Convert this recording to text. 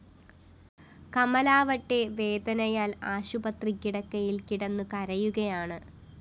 കമലാവട്ടെ വേദനായാല്‍ ആശുപത്രി കിടക്കയില്‍ കിടന്നുകരയുകയാണ്